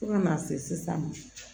Fo kana se sisan ma